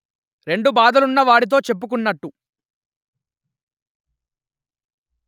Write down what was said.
రెండు బాధలున్న వాడితొ చెప్పుకున్నట్టు